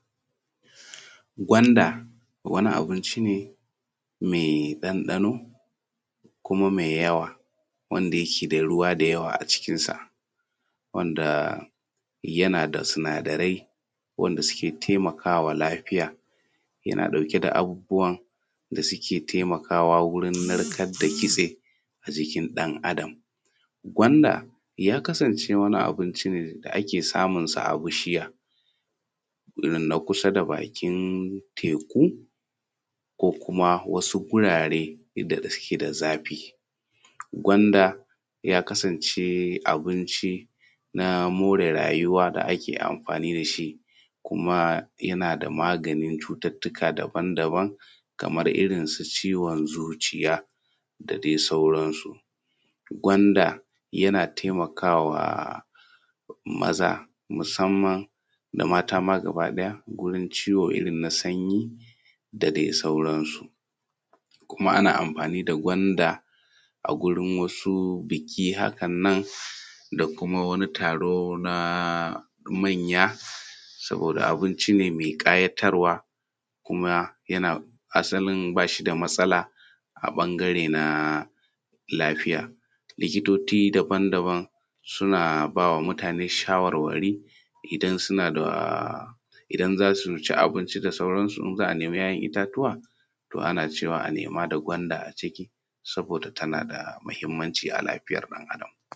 Gwanda wani abinci ne mai ɗanɗano kuma mai yawa wanda yake da ruwa da yawa a cikinsa. Gwanda yana da sinadari wanda suke taimakawa lafiya yana ɗauke da abubuwa da suke taimaka wa wurin narkar da kitse a jikin ɗan Adam. Gwanda ya kasance wani abinci ne da ake samun sa a bishiya irin na kusa da bakin teku ko kuma wasu gurare inda da suke da zafi. Gwanda yakasance abinci na more rayuwa da ake amfani da shi kuma yana da maganin na cucuttuka daban daban kamar irin su ciwon zuciya da dai sauransu. Gwanda yana taimaka wa maza musaman da mata ma gaba ɗaya wurin ciwo irin na sanyi da dai sauransu. Kuma ana amfani da gwanda a gurin wasu biki haka nan da kuma wani taro na manya saboda abinci ne mai ƙayatarwa kuma asalin ba shi da matsala a ɓangarori na lafiya. Likitoci daban daban suna ba wa mutane shawarwari idan za su ci abinci da sauransu, in za a nema ‘ya’yan itatuwa to ana cewa a nema da gwanda a ciki saboda tana da muhinmanci a lafiyan ɗan Adam.